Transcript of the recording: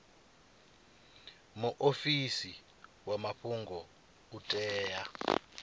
muofisi wa mafhungo u tea